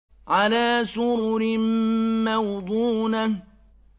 عَلَىٰ سُرُرٍ مَّوْضُونَةٍ